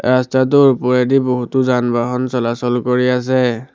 ৰাস্তাটোৰ ওপৰেদি বহুতো যান-বাহন চলাচল কৰি আছে।